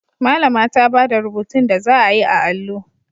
Malama ta bada rubutun da zaa yi a allo